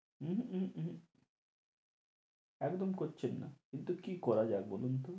উম হম হম একদম করছেন না কিন্তু কি করা যায় বলুন তো?